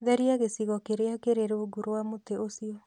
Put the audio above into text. Theria gĩcigo kĩrĩa kĩrĩ rungu rwa mũtĩ ũcio.